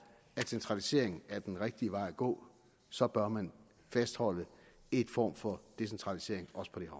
at centralisering er den rigtige vej gå så bør man fastholde en form for decentralisering